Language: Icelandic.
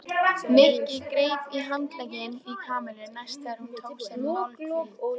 Nikki greip í handlegginn í Kamillu næst þegar hún tók sér málhvíld.